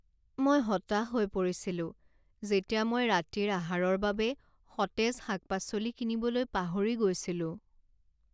মই হতাশ হৈ পৰিছিলো যেতিয়া মই ৰাতিৰ আহাৰৰ বাবে সতেজ শাক পাচলি কিনিবলৈ পাহৰি গৈছিলো।